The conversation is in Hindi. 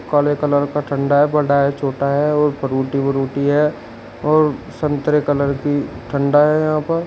काले कलर का ठंडा है बड़ा है छोटा है और फ्रूटी बूरूटी है और संतरे कलर की ठंडा है यहां पर।